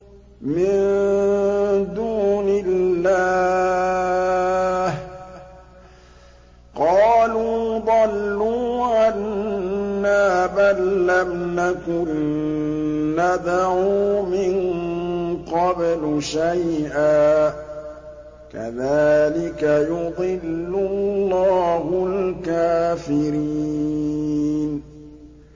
مِن دُونِ اللَّهِ ۖ قَالُوا ضَلُّوا عَنَّا بَل لَّمْ نَكُن نَّدْعُو مِن قَبْلُ شَيْئًا ۚ كَذَٰلِكَ يُضِلُّ اللَّهُ الْكَافِرِينَ